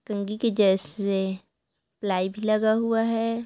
कँघी के जैसे प्लाई भी लगा हुआ है।